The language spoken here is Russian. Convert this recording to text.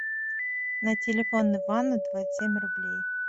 на телефон ивана двадцать семь рублей